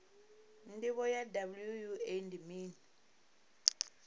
ndivho ya wua ndi mini